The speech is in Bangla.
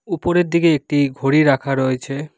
উপরের দিকে একটি ঘড়ি রাখা রয়েছে।